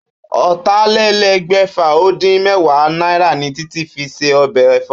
Ó̩tàlélé̩gbè̩fà-ó-dín-mé̩wàá náírà ni Títí fi se o̩bè̩ è̩fó̩